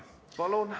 Palun!